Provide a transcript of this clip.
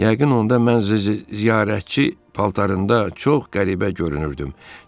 Yəqin onda mən ziyarətçi paltarında çox qəribə görünürdüm.